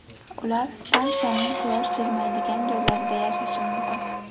Ular stansiyaning quyosh tegmaydigan joylarida yashashi mumkin.